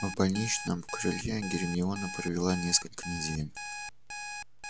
в больничном крыле гермиона провела несколько недель